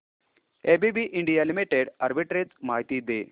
ABB India limited arbitrage माहिती दे